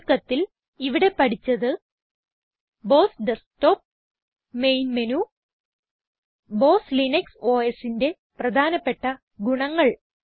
ചുരുക്കത്തിൽ ഇവിടെ പഠിച്ചത് BOSS desktop main menu BOSS Linux OSന്റെ പ്രധാനപ്പെട്ട ഗുണങ്ങൾ